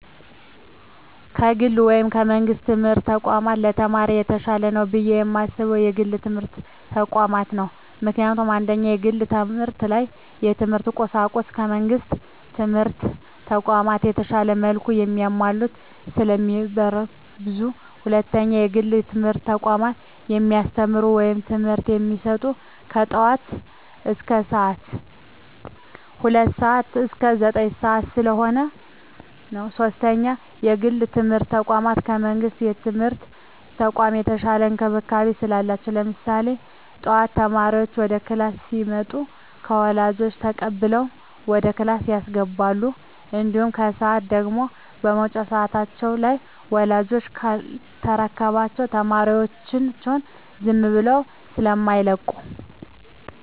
ከግል ወይም ከመንግስት የትምህርት ተቋማት ለተማሪ የተሻለ ነው ብየ የማስበው የግል የትምህርት ተቋማትን ነው። ምክንያቱም፦ 1ኛ, የግል ተቋማት ላይ የትምህርት ቁሳቁሱ ከመንግስት ትምህርት ተቋማቶች በተሻለ መልኩ ተማሟልተው ስለሚቀርቡ። 2ኛ, የግል የትምህርት ተቋሞች የሚያስተምሩት ወይም ትምህርት የሚሰጡት ከጠዋቱ ሁለት ሰዓት እስከ ዘጠኝ ሰዓት ስለሆነ። 3ኛ, የግል የትምርት ተቋም ከመንግስት የትምህርት ተቋም የተሻለ እንክብካቤ ስላላቸው። ለምሳሌ ጠዋት ተማሪዎች ወደ ክላስ ሲመጡ ከወላጆች ተቀብለው ወደ ክላስ ያስገባሉ። እንዲሁም ከሰዓት ደግሞ የመውጫ ሰዓት ላይ ወላጅ ካልተረከባቸው ተማሪዎቻቸውን ዝም ብለው ስማይለቁ።